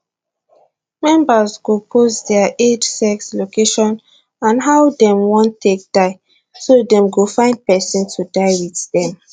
members go post dia age sex location and how dem wan take die so dem go find pesin to die wit dem